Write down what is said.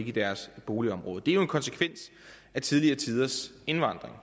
i deres boligområde det er jo en konsekvens af tidligere tiders indvandring og